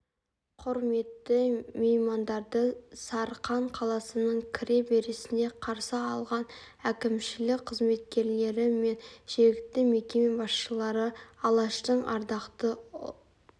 құрметті меймандарды сарқан қаласының кіре берісінде қарсы алған әкімшілік қызметкерлері мен жергілікті мекеме басшылары алаштың ардақты